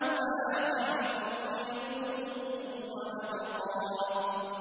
وَالْآخِرَةُ خَيْرٌ وَأَبْقَىٰ